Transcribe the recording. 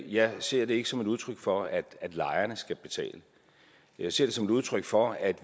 jeg ser det ikke som et udtryk for at lejerne skal betale jeg ser det som et udtryk for at